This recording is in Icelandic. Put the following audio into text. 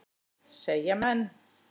segja menn.